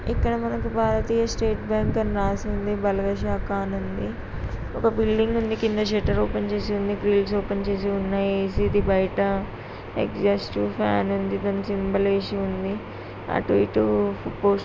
ఇక్కడ మనకు భారతీయ స్టేట్ బ్యాంకు అని రాసి ఉంది. బలగ శాఖ అని ఉంది. ఒక బిల్డింగ్ ఉంది. ఒక షట్టర్ ఓపెన్ చేసి ఉంది. ఓపెన్ చేసి ఉన్నాయ్ ఏ_సీ ఉంది బయట ఎగ్జాస్ట్ ఫ్యాన్ ఉంది. సింబల్ వేసి ఉంది. అటు ఇటు పోస్ట్ --